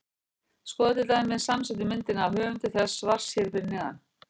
Skoðið til dæmis samsettu myndina af höfundi þessa svars hér fyrir neðan.